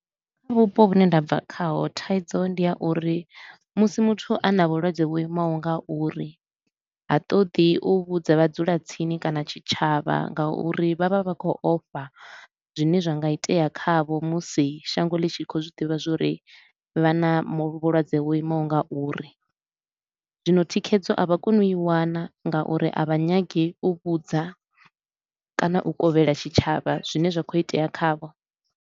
Kha vhupo vhune nda bva khaho thaidzo ndi ya uri musi muthu a na vhulwadze vho imaho nga uri, ha ṱoḓi u vhudza vha dzula tsini kana tshitshavha nga uri vha vha vha vha khou ofha zwine zwa nga itea khavho musi shango ḽi tshi khou zwi ḓivha zwa uri vha na mu vhulwadze ho imaho nga uri. Zwino thikhedzo a vha koni u i wana nga uri a vha nyagi u vhudza kana u kovhela tshitshavha zwine zwa khou itea khavho.